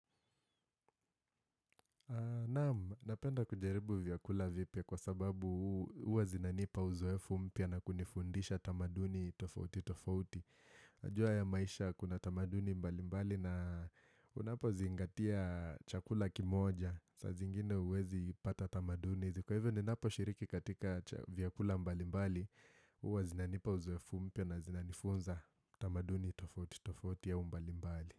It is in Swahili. Naam, napenda kujaribu vyakula vipya kwa sababu huwa zinanipa uzoefu mpya na kunifundisha tamaduni tofauti tofauti. Najua haya maisha kuna tamaduni mbali mbali na unapo zingatia chakula kimoja. Saa zingine huwezi pata tamaduni. Kwa hivyo ninaposhiriki katika vyakula mbali mbali, huwa zinanipa uzoefu mpya na zinanifunza tamaduni tofauti tofauti au mbali mbali.